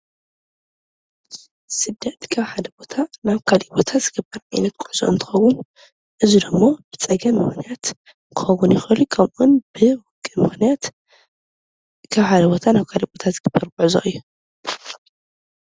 ስደት ካብ ሓደ ቦታ ናብ ካልእ ቦታ ዝግበር ዓይነት ጉዕዞ እንትኸውን እዚ ደሞ ብፀገም ምኽንያት ክኸውን ይኽእል እዩ፡፡ ከምኡውን ብውግእ ምኽንያት ካብ ሓደ ቦታ ናብ ካልእ ቦታ ዝግበር ጉዕዞ እዩ፡፡